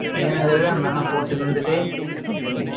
வேணுங்கிறது, அந்த அண்ணன் போட்டு இருந்துட்டு,